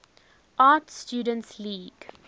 art students league